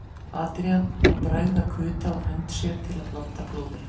Adrian og bregða kuta á hönd sér til að blanda blóði.